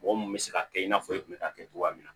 Mɔgɔ mun bɛ se ka kɛ i n'a fɔ i kun bɛ k'a kɛ cogoya min na